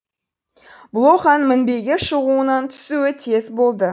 блоханың мінбеге шығуынан түсуі тез болды